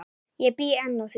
Ég bý enn að því.